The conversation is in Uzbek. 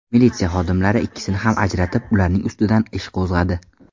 Militsiya xodimlari ikkisini ham ajratib, ularning ustidan ish qo‘zg‘adi.